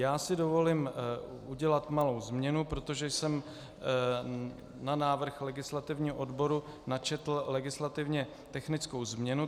Já si dovolím udělat malou změnu, protože jsem na návrh legislativního odboru načetl legislativně technickou změnu.